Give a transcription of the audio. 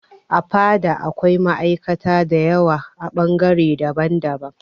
A fada da akwai ma'aikata da yawa a bangare daban daban